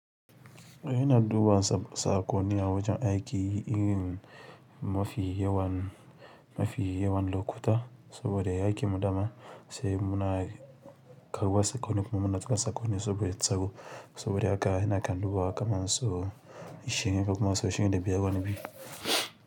Ina duba saƙonni a wajan aiki irin mafi yawan, mafi yawan lokuta saboda mu aikin mu daman sai muna duba saƙonni kuma mu na saka sakoni saboda tsaro saboda haka ina yawan dubawa kamar sau ishirin, ko kuma sau ishirin da biyar, wani fi.